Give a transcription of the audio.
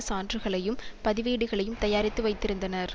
சான்றுகளையும் பதிவேடுகளையும் தயாரித்து வைத்திருந்தனர்